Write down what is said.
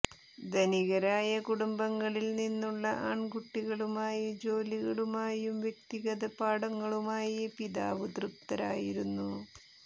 ധനികരായ കുടുംബങ്ങളിൽ നിന്നുള്ള ആൺകുട്ടികളുമായി ജോലികളുമായും വ്യക്തിഗത പാഠങ്ങളുമായി പിതാവ് തൃപ്തരായിരുന്നു